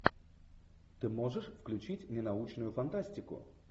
ты можешь включить ненаучную фантастику